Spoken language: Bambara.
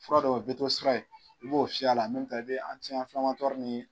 Fura dɔw bɛ to sira ye, i b'o fiyɛ a la i bɛ nin.